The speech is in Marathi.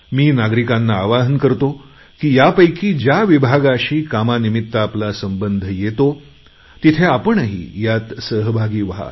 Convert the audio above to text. मी नागरिकांना आवाहन करतो की यापैकी ज्या विभागाशी कामानिमित्त आपला संबंध येतो तिथे आपणही यात सहभागी व्हा